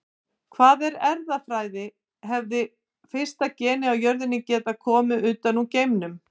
Hvað er erfðafræði Hefði fyrsta genið á jörðinni getað komið utan úr geimnum?